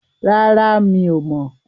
Rárá, mi ò mọ̀.